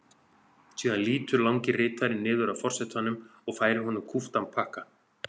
Síðan lýtur langi ritarinn niður að forsetanum og færir honum kúptan pakka.